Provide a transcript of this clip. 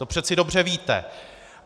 To přeci dobře víte.